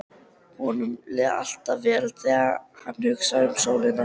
Honum líði alltaf vel þegar hann hugsi um sólina.